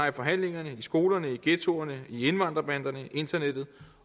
i forhandlingerne i skolerne i ghettoerne i indvandrerbanderne på internettet